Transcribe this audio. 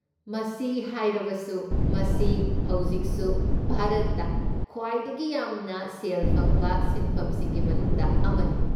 ꯃꯁꯤ ꯍꯥꯏꯔꯕꯁꯨ, ꯃꯁꯤ ꯍꯧꯖꯤꯛꯁꯨ ꯚꯥꯔꯠꯇ ꯈ꯭ꯋꯥꯏꯗꯒꯤ ꯌꯥꯝꯅ ꯁꯦꯜ ꯐꯪꯕ ꯁꯤꯟꯐꯝꯁꯤꯡꯒꯤ ꯃꯅꯨꯡꯗ ꯑꯃꯅꯤ꯫